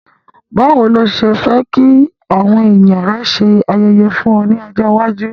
Bàwoni ni o se fe ki àwon èyàn rẹ ṣe se ayẹyẹ fún o ni ọjọ̀ iwájú.